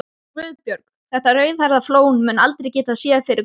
GUÐBJÖRG: Þetta rauðhærða flón mun aldrei geta séð fyrir konu.